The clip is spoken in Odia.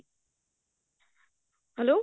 hello